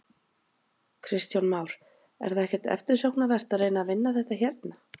Kristján Már: Er það ekkert eftirsóknarvert að reyna að vinna þetta hérna?